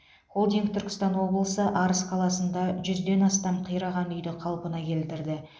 холдинг түркістан облысы арыс қаласында жүзден астам қираған үйді қалпына келтірді